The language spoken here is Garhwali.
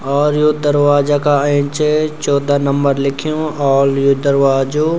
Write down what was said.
और यू दरवाजा का एैंचे चौदह नंबर लिख्यूं और यू दरवाजों।